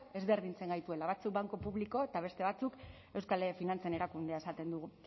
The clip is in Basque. ezberdintzen gaituela batzuk banku publiko eta beste batzuk euskal finantzen erakundea esaten dugu